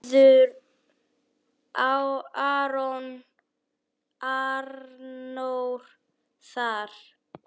Verður Arnór þar?